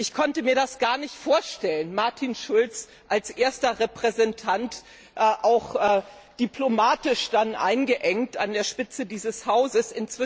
Ich konnte mir das gar nicht vorstellen, Martin Schulz als erster Repräsentant, auch diplomatisch dann eingeengt an der Spitze dieses Hauses.